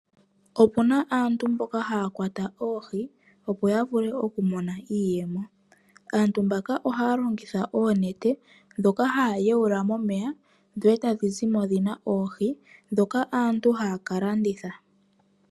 Opuna aantu mboka haya kwata oohi, opo ya mone iiyemo. Aantu mbaka ohaya longitha oonete dhoka haya yawula momeya, dho tadhi zimo dhina oohi dhoka aantu taya ka landitha.